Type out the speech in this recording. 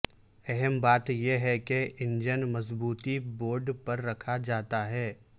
اہم بات یہ ہے کے انجن مضبوطی بورڈ پر رکھا جاتا ہے